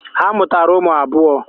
Ha mụtara ụmụ abụọ.